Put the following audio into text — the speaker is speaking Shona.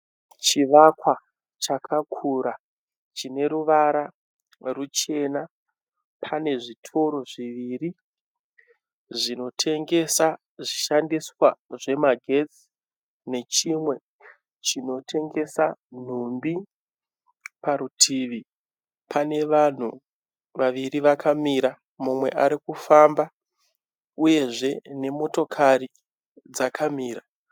Chivakwa chakakura chine ruvara ruchena. Pane zvitoro zviviri zvinotengesa zvishandiswa zvemagetsi nechimwe chinotengesa nhumbi. Parutivi pane vanhu vaviri vakamira , mumwe ari kufamba uyezve nemotokari dzakamira.